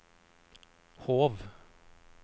Hov